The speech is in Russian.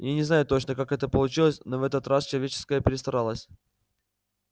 я не знаю точно как это получилось но в этот раз человеческая перестаралось